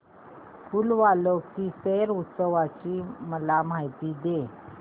फूल वालों की सैर उत्सवाची मला माहिती दे